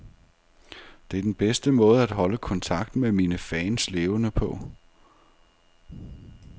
Det er den bedste måde at holde kontakten med mine fans levende på.